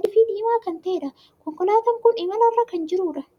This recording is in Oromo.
adii fi diimaa kan taheedha. konkolaataan kun imala irra kan jirudha.